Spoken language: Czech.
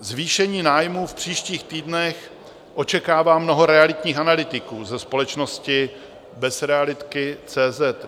Zvýšení nájmů v příštích týdnech očekává mnoho realitních analytiků ze společnosti Bezrealitky.cz